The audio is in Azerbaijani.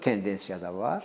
Bu tendensiya da var.